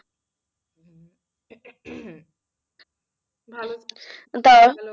ভালো